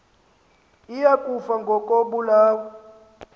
iya kufa ngokobulawa